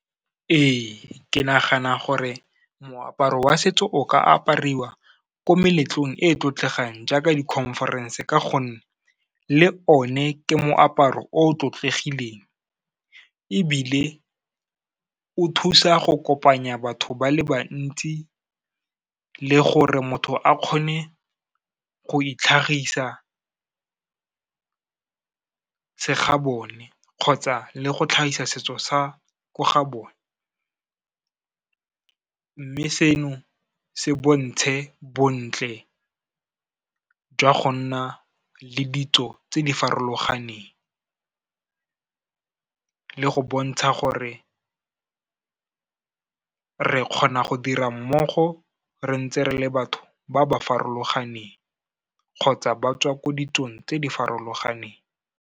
Ee, ke nagana gore moaparo wa setso o ka apariwa ko meletlong e e tlotlegang jaaka di-conference ka gonne le one ke moaparo o tlotlegileng, ebile o thusa go kopanya batho ba le bantsi le gore motho a kgone go itlhagisa, segabone kgotsa le go tlhagisa setso sa ko gabone. Mme seno se bontshe bontle jwa go nna le ditso tse di farologaneng, le go bontsha gore re kgona go dira mmogo rentse re le batho ba ba farologaneng, kgotsa ba tswa ko ditsong tse di farologaneng.